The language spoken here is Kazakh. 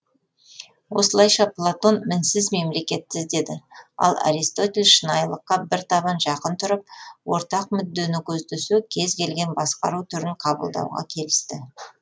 осылайша платон мінсіз мемлекетті іздеді ал аристотель шынайылыққа бір табан жақын тұрып ортақ мүддені көздесе кез келген басқару түрін қабылдауға келісті